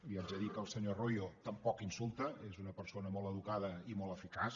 li haig de dir que el senyor royo tampoc insulta és una persona molt educada i molt eficaç